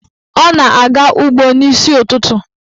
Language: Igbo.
Ọ na-aga ụgbọ n'isi ụtụtụ.